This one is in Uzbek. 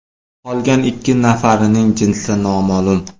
Qolgan ikki nafarining jinsi noma’lum.